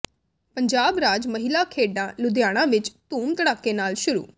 ਪੰਜਾਬ ਰਾਜ ਮਹਿਲਾ ਖੇਡਾਂ ਲੁਧਿਆਣਾ ਵਿੱਚ ਧੂਮ ਧੜੱਕੇ ਨਾਲ ਸ਼ੁਰੂ